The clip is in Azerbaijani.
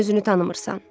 Sən özünü tanımırsan.